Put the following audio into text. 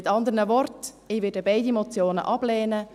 Mit anderen Worten: Ich werde beide Motionen ablehnen.